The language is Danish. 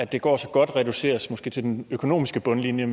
det går så godt reduceres måske til den økonomiske bundlinje